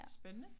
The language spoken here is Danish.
Spændende